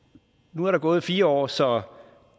nu er der gået fire år så